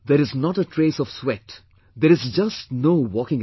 There is not a trace of sweat; there is just no walking around